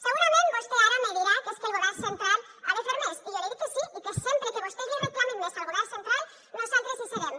segurament vostè ara me dirà que és que el govern central ha de fer més i jo li dic que sí i que sempre que vostès li reclamin més al govern central nosaltres hi serem